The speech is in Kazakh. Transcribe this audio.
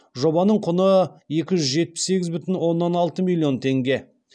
жобаның құны екі жүз жетпіс сегіз бүтін оннан алты миллион теңге